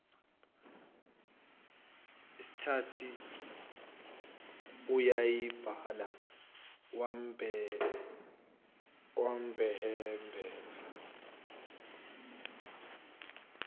esethi uyayibala wamhebeza